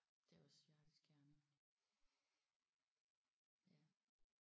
Det er også hjerteskærende ja